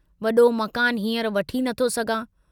वडो मकानु हींअर वठी नथो सघां।